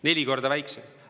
Neli korda väiksem!